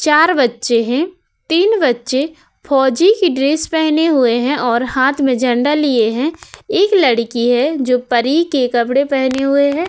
चार बच्चे हैं। तीन बच्चे फौजी के ड्रेस पहने हुए हैं और हाथ में झंडा लिए हैं। एक लड़की है जो परी के कपड़े पहने हुए है।